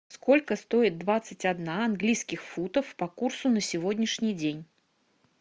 сколько стоит двадцать одна английских футов по курсу на сегодняшний день